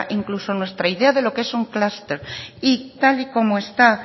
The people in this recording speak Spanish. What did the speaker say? incluso nuestra idea de lo que es un clúster y tal y como está